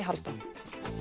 Hálfdán